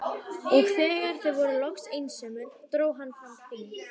Og þegar þau voru loks einsömul dró hann fram hring.